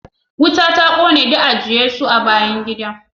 Wuta ta kone duk eje- Yesu a bayan gidan